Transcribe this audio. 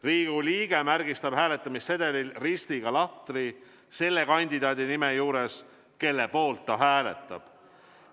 Riigikogu liige märgistab hääletamissedelil ristiga lahtri selle kandidaadi nime juures, kelle poolt ta hääletab.